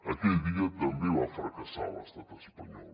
aquell dia també va fracassar l’estat espanyol